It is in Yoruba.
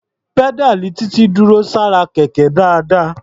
Pẹ́dáàlì Títí dúró sára Kẹ̀kẹ́ dáadáa.